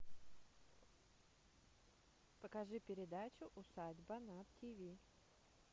покажи передачу усадьба на тиви